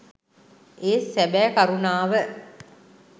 ඒත් සැබෑ කරුණාව